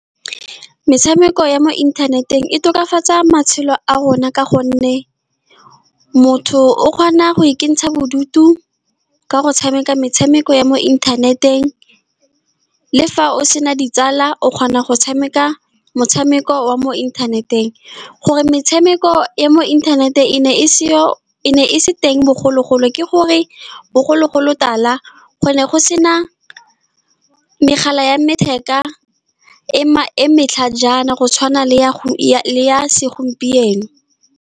Metshameko ya mo inthaneteng e tokafatsa matshelo a rona, ka gonne motho o kgona go ikentsha bodutu ka go tshameka metshameko ya mo inthaneteng. Le fa o sena ditsala, o kgona go tshameka motshameko wa mo inthaneteng. Gore metshameko ya mo internet-e e ne e seyo, e ne e se teng bogologolo. Ke gore, bogologolotala go ne go sena megala ya letheka e ma, e e matlhajana, go tshwana le ya ya segompieno.